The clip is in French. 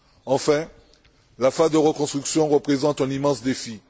Enfin, la phase de reconstruction représente un immense défi.